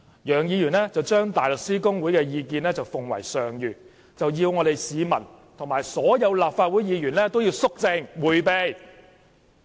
楊議員將大律師公會的意見奉為上諭，要市民及所有立法會議員都肅靜迴避。